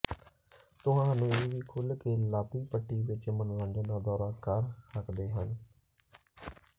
ਤੁਹਾਨੂੰ ਇਹ ਵੀ ਖੁੱਲ੍ਹ ਕੇ ਲਾਬੀ ਪੱਟੀ ਵਿੱਚ ਮਨੋਰੰਜਨ ਦਾ ਦੌਰਾ ਕਰ ਸਕਦੇ ਹਨ